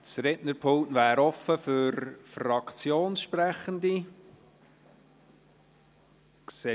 Das Rednerpult steht den Fraktionssprechenden frei.